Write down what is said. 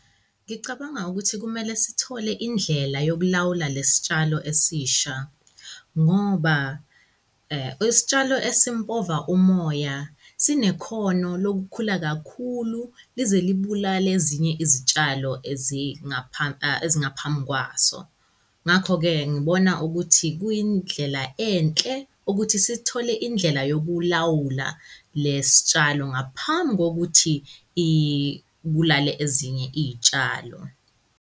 Ngicabanga ukuthi kumele sithole indlela yokulawula lesi tshalo esisha ngoba isitshalo esimpova umoya sinekhono lokukhula kakhulu lize libulale ezinye izitshalo ezingaphambi kwaso. Ngakho-ke, ngibona ukuthi kuyindlela enhle ukuthi sithole indlela yokulawula lesi tshalo ngaphambi kokuthi ibulale ezinye iy'tshalo.